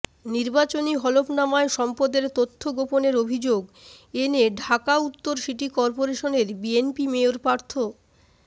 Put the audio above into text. নির্বাচনী হলফনামায় সম্পদের তথ্য গোপনের অভিযোগ এনে ঢাকা উত্তর সিটি করপোরেশনের বিএনপির মেয়র প্রার্থ